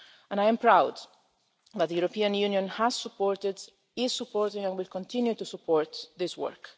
I am proud that the European Union has supported, is supporting and will continue to support this work.